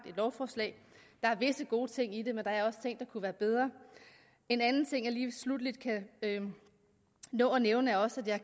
lovforslag der er visse gode ting i det men der er også ting der kunne være bedre en anden ting jeg lige sluttelig kan nå at nævne er også at jeg